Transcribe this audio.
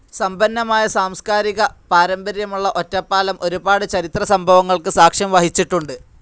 സമ്പന്നമായ സാംസ്കാരിക പാരമ്പര്യമുള്ള ഒറ്റപ്പാലം ഒരുപാട് ചരിത്ര സംഭവങ്ങൾക്ക് സാക്ഷ്യം വഹിച്ചിട്ടുണ്ട്.